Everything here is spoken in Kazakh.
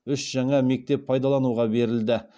үш жаңа мектеп пайдалануға берілді